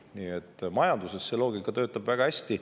Nii et majanduses see loogika töötab väga hästi.